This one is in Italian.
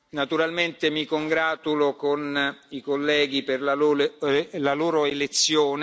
stati eletti. Naturalmente mi congratulo con i colleghi per